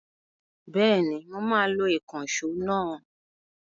Bẹ́ẹ̀ni mo máa lo ìkànṣó náà?